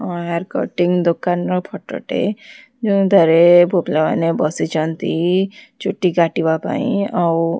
hair cutting ଦୋକାନର photo ଟେ ଯୋଉଁ ତାରେ ପୁଅ ପିଲାମାନେ ବସିଚନ୍ତି ଚୁଟି କାଟିବା ପାଇଁ ଆଉ--